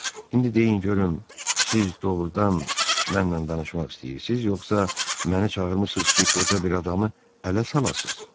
İndi deyin görüm, siz doğrudan mənlə danışmaq istəyirsiz, yoxsa məni çağırmısınız ki, qoca bir adamı ələ salasız?